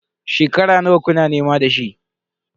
Shekara nawa kuna nema da shi?